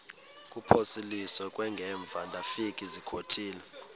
kuphosiliso kwangaemva ndafikezizikotile